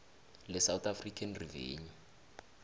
lesouth african revenue